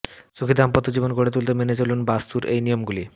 সুখী দাম্পত্য জীবন গড়ে তুলতে মেনে চলুন বাস্তুর এই নিয়মগুলি